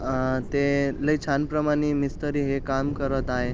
अ ते लय छान प्रमाणे मिस्त्री हे काम करत आहे.